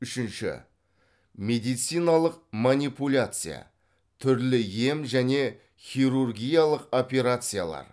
үшінші медициналық манипуляция түрлі ем және хирургиялық операциялар